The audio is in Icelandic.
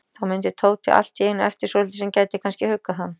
Þá mundi Tóti allt í einu eftir svolitlu sem gæti kannski huggað hann.